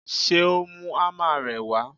Ṣé o mú ámà rẹ wá?